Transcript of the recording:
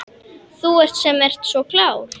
Þú sem ert svo klár.